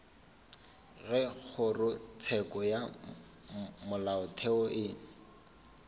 ge kgorotsheko ya molaotheo e